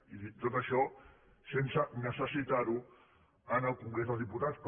i tot això sense necessitar ho en el congrés dels diputats